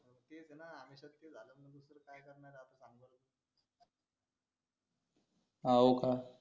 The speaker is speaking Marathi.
हो का